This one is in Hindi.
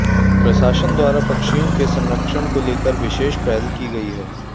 प्रशासन द्वारा पक्षियों के संरक्षण को लेकर विशेष पहल की गई है